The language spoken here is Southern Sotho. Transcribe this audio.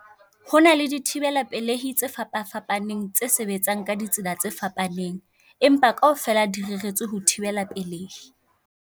Ho na le dithibela pelehi tse fapafapaneng tse sebetsang ka ditsela tse fapaneng, empa kaofela di reretswe ho thibela pelehi.